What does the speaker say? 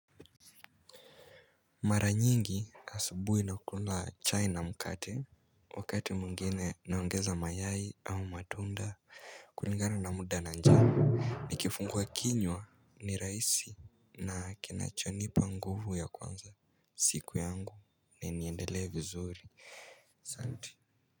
Mara nyingi asubuhi nakula chai na mkate. Wakati mwingine naongeza mayai au matunda kulingana na muda na njaa. Ni kifungua kinywa, ni raisi na kinachonipa nguvu ya kuanza siku yangu na niendelee vizuri.